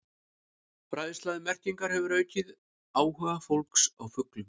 Fræðsla um merkingar hefur aukið áhuga fólks á fuglum.